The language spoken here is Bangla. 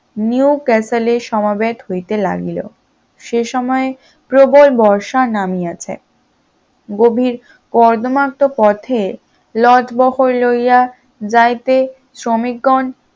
নিউ ক্যাসেলের সমবেত হইতে লাগিল, সে সময়ে প্রবল বর্ষা নামিয়াছে, গভীর কদমত পথে লটবহল লইয়া যাইতে শ্রমিকগণ